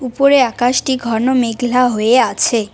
উপরে আকাশটি ঘন মেঘলা হয়ে আছে।